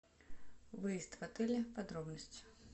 выезд в отеле подробности